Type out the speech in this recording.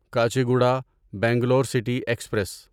Kacheguda Bangalore city express